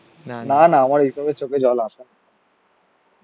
না না আমার এই সবে চোখে জল আসে না